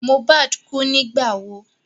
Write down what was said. Mohbad kú nígbà wo?